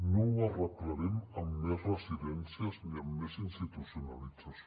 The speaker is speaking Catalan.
no ho arreglarem amb més residències ni amb més institucionalització